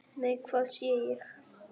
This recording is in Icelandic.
Nei, hvað sé ég!